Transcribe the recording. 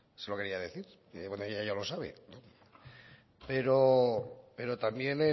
se lo quería decir bueno ella ya lo sabe pero pero también